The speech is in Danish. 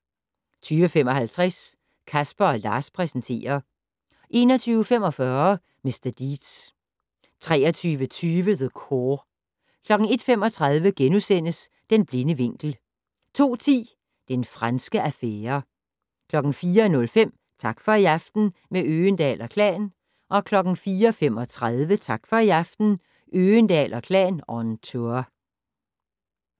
20:55: Casper & Lars præsenterer 21:45: Mr. Deeds 23:20: The Core 01:35: Den blinde vinkel * 02:10: Den franske affære 04:05: Tak for i aften - med Øgendahl & Klan 04:35: Tak for i aften - Øgendahl & Klan on tour